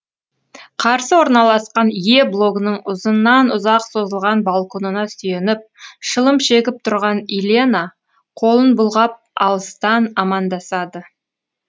қарсы орналасқан е блогының ұзыннан ұзақ созылған балконына сүйеніп шылым шегіп тұрған илена қолын бұлғап алыстан амандасады